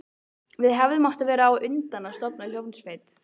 Við hefðum átt að verða á undan að stofna hljómsveit.